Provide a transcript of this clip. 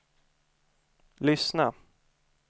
lyssna